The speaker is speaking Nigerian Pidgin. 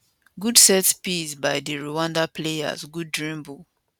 good set piece by di rwanda players good dribble